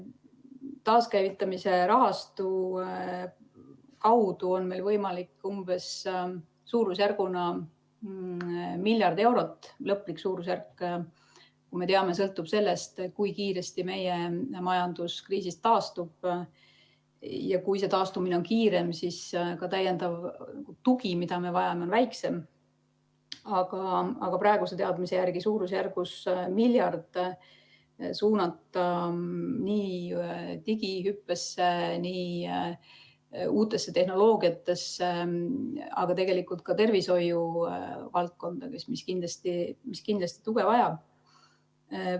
Taaskäivitamise rahastu kaudu on meil võimalik suunata suurusjärgus miljard eurot , praeguse teadmise järgi saame suurusjärgus miljardi suunata digihüppesse, uutesse tehnoloogiatesse, aga ka tervishoiuvaldkonda, mis kindlasti tuge vajab.